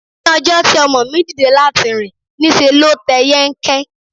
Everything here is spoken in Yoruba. Ní ọjọ́ tí ọmọ mi dìde láti rìn, ní ṣe ló tẹ̀ yẹ́nkẹ́n.